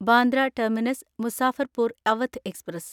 Bandra terminus Muzaffarpur Awadh express